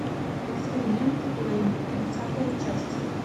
эксперименты лэйн тридцатая часть